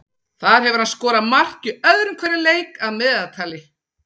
Þar hefur hann skorað mark í öðrum hverjum leik að meðaltali.